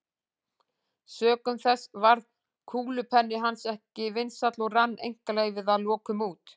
Sökum þess varð kúlupenni hans ekki vinsæll og rann einkaleyfið að lokum út.